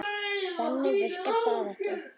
Þannig virkar það ekki.